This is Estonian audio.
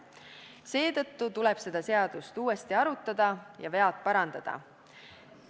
Seetõttu tuleb seda seadust uuesti arutada ja vead parandada.